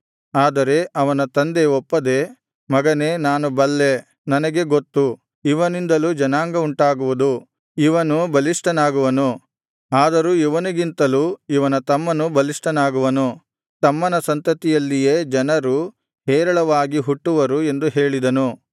ಆದರೆ ಅವನ ತಂದೆ ಒಪ್ಪದೆ ಮಗನೇ ನಾನು ಬಲ್ಲೆ ನನಗೆ ಗೊತ್ತು ಇವನಿಂದಲೂ ಜನಾಂಗವುಂಟಾಗುವುದು ಇವನು ಬಲಿಷ್ಠನಾಗುವನು ಆದರೂ ಇವನಿಗಿಂತಲೂ ಇವನ ತಮ್ಮನು ಬಲಿಷ್ಠನಾಗುವನು ತಮ್ಮನ ಸಂತತಿಯಲ್ಲಿಯೇ ಜನರು ಹೇರಳವಾಗಿ ಹುಟ್ಟುವರು ಎಂದು ಹೇಳಿದನು